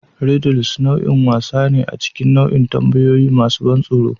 Riddles nau'in wasa ne a cikin nau'in tambayoyi masu ban tsoro.